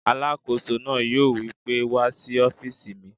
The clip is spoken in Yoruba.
Alàkóso náà yóò wí pé "wá sí ọ́fìsì mi!"